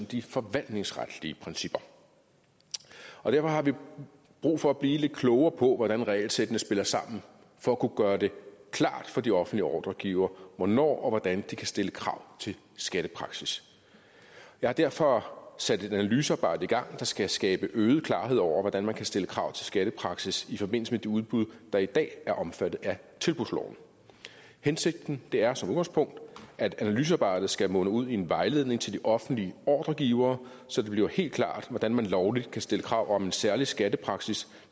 de forvaltningsretlige principper derfor har vi brug for at blive lidt klogere på hvordan regelsættene spiller sammen for at kunne gøre det klart for de offentlige ordregivere hvornår og hvordan de kan stille krav til skattepraksis jeg har derfor sat et analysearbejde i gang der skal skabe øget klarhed over hvordan man kan stille krav til skattepraksis i forbindelse med de udbud der i dag er omfattet af tilbudsloven hensigten er som udgangspunkt at analysearbejdet skal munde ud i en vejledning til de offentlige ordregivere så det bliver helt klart hvordan man lovligt kan stille krav om en særlig skattepraksis